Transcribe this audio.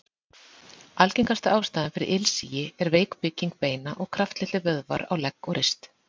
Algengasta ástæðan fyrir ilsigi er veik bygging beina og kraftlitlir vöðvar á legg og rist.